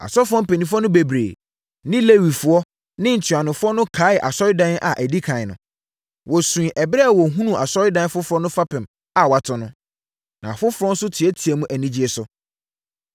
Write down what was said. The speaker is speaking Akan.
Asɔfoɔ mpanimfoɔ no bebree ne Lewifoɔ ne ntuanofoɔ no kaee asɔredan a ɛdi ɛkan no, wɔsuiɛ ɛberɛ a wɔhunuu asɔredan foforɔ no fapem a wɔato no. Na afoforɔ nso teateaam anigyeɛ so.